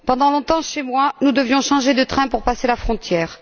Pendant longtemps, chez moi, nous devions changer de train pour passer la frontière.